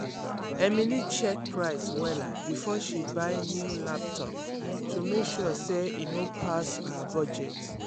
emily check price wella before she buy new laptop to make sure say e no pass her budget.